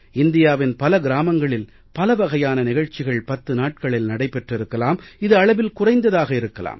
இந்தியாவின் பல கிராமங்களில் பலவகையான நிகழ்ச்சிகள் பத்து நாட்களில் நடைபெற்றிருக்கலாம் இது அளவில் குறைவாக இருக்கலாம்